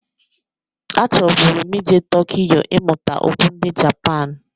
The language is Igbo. A chọburu m ije Tokiyo ịmụta okwu ndị Japan.